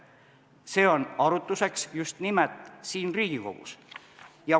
See on mõeldud arutamiseks just nimelt siin Riigikogus.